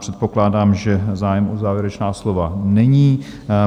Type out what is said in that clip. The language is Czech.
Předpokládám, že zájem o závěrečná slova není.